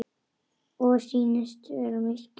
Og sýnist vera mitt gjald.